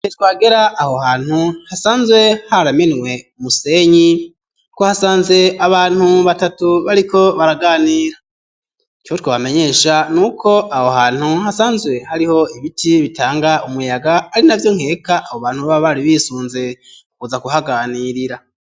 We abagera aho hantu hasanzwe haramenwe umusenyi ko hasanze abantu batatu bariko baraganira co twabamenyesha ni uko aho hantu hasanzwe hariho ibiti bitanga umuyaga ari na vyo nkeka abo bantu baba bari bisunze kuza kuhaganirira.